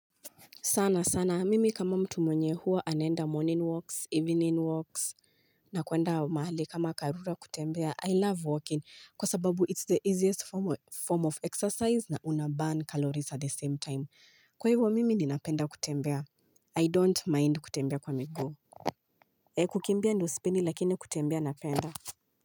Sana sana, mimi kama mtu mwenye huwa anaenda morning walks, evening walks, na kuenda mahali kama karura kutembea I love walking kwa sababu it's the easiest form of exercise na unaburn calories at the same time. Kwa hivyo mimi ninapenda kutembea. I don't mind kutembea kwa miguu. Ya kukimbia ndio sipendi lakini kutembea napenda.